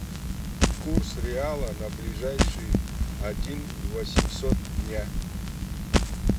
курс реала на ближайший один восемьсот дня